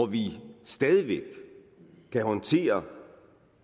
vi stadig væk kan håndtere